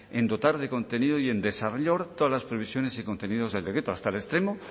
en dotar de contenido y en desarrollar todas las previsiones y contenidos del decreto hasta el extremo